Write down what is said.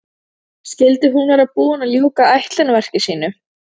Skyldi hún vera búin að ljúka ætlunarverki sínu?